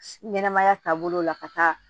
Ɲɛnɛmaya taabolo la ka taa